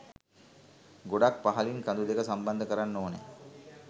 ගොඩක් පහළින් කඳු දෙක සම්බන්ධ කරන්න ඕනෑ.